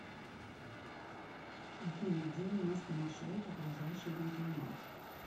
афина где у нас по маршруту ближайший банкомат